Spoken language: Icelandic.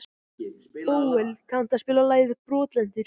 Bóel, kanntu að spila lagið „Brotlentur“?